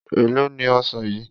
Èló ni ọsàn yìí?